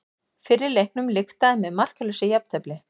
Fyrri leiknum lyktaði með markalausu jafntefli